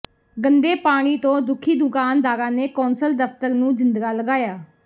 ਗੰਦੇ ਪਾਣੀ ਤੋਂ ਦੁਖੀ ਦੁਕਾਨਦਾਰਾਂ ਨੇ ਕੌਂਸਲ ਦਫ਼ਤਰ ਨੂੰ ਜਿੰਦਰਾ ਲਗਾਇਆ